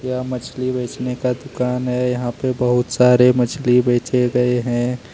यहां पर मछली बेचने का दुकान है यहां पर बहुत सारे मछली बेचे गए हैं।